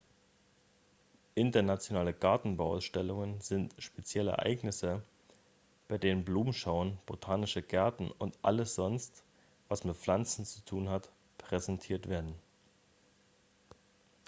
internationale gartenbauausstellungen sind spezielle ereignisse bei denen blumenschauen botanische gärten und alles sonst was mit pflanzen zu tun hat präsentiert werden